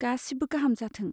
गासिबो गाहाम जाथों!